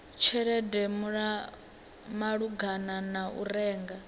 tshelede malugana na u renga